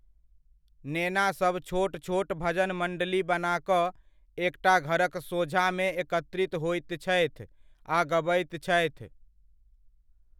नेनासभ छोट छोट भजन मण्डली बना कऽ एकटा घरक सोझाँमे एकत्रित होइत छथि आ गबैत छथि।